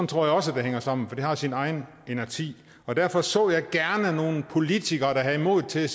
tror jeg også det hænger sammen for det har sin egen inerti og derfor så jeg gerne nogle politikere der havde modet til